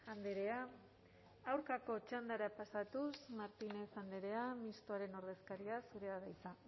andrea aurkako txandara pasatuz martínez andrea mistoaren ordezkaria zurea da hitza